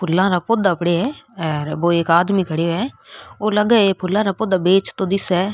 फुला रा पौधा पड़े है और वो एक आदमी खड्यो है और लगे है ये फूला रा पौधा बेचतो दिसे है।